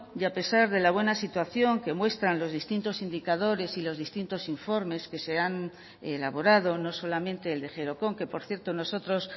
y a pesar de la buena situación que muestran los distintos indicadores y los distintos informes que se han elaborado no solamente el de gerokon que por cierto nosotros